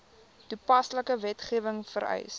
toepaslike wetgewing vereis